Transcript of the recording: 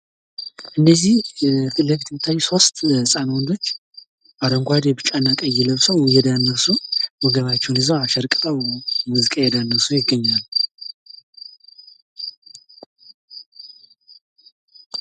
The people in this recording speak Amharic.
ሙዚቃ የመዝናኛ፣ የፈውስና የመንፈሳዊ እርካታ ምንጭ በመሆን የዕለት ተዕለት ጭንቀትን ያስወግዳል እንዲሁም የአእምሮ ሰላምን ያጎናጽፋል።